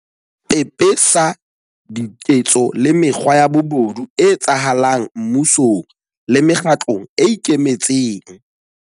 Ba pe pesa diketso le mekgwa ya bobodu e etsahala ng mmusong le mekgatlong e ikemetseng.